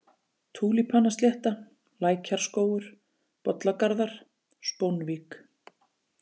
Túlípanaslétta, Lækjarskógur, Bollagarðar, Spónvík